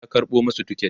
ya karɓo masu tiket